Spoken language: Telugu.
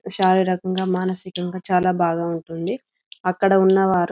శారీరకంగా మానసికంగా చాలా బాగా ఉంటుంది అక్కడ ఉన్నవారు --